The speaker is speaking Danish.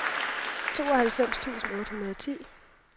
tooghalvfems tusind otte hundrede og ti